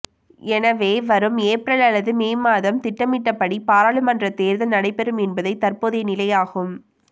எனவே வரும் ஏப்ரல் அல்லது மே மாதம் திட்டமிட்டபடி பாராளுமன்ற தேர்தல் நடைபெறும் என்பதே தற்போதைய நிலை ஆகும்